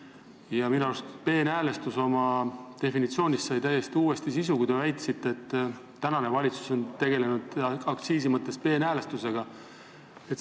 Ja minu arust andsite te peenhäälestuse definitsioonile täiesti uue sisu, kui väitsite, et valitsus on aktsiiside mõttes peenhäälestusega tegelenud.